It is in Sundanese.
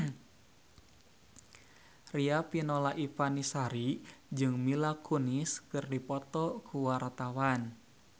Riafinola Ifani Sari jeung Mila Kunis keur dipoto ku wartawan